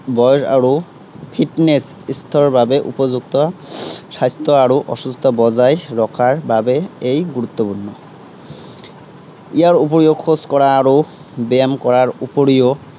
বৰ আৰু fitness স্তৰ বাবে উপযুক্ত স্বাস্থ্য় আৰু অসুস্থতা বজাই ৰখাৰ বাবে এই গুৰুত্বপূৰ্ণ। ইয়াৰ উপৰিও খোজকঢ়া আৰু ব্য়ায়াম কৰাৰ উপৰিও